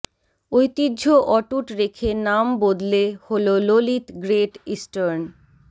ঐতিহ্য অটুট রেখে নাম বদলে হল ললিত গ্রেট ইস্টার্ন